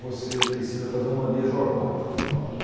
você precisa fazer um manejo arbóreo, que a gente fala.